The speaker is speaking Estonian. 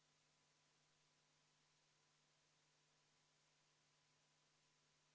Tegelikult on muidugi väga kurb, et komisjon ühtegi Keskerakonna muudatusettepanekut ei toetanud, näiteks kas või seoses kiirkorras ID-kaardi tegemisega.